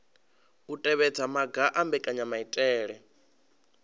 u tevhedza maga a mbekanyamaitele